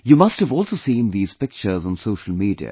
You must have also seen these pictures on social media